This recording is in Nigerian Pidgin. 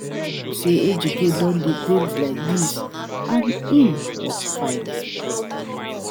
I no know say Ejike don dey paint like dis and im work fine